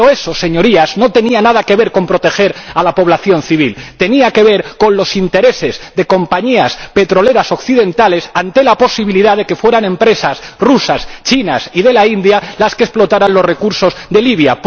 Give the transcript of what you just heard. Pero eso, Señorías, no tenía nada que ver con proteger a la población civil tenía que ver con los intereses de compañías petroleras occidentales ante la posibilidad de que fueran empresas rusas, chinas y de la India las que explotaran los recursos de Libia.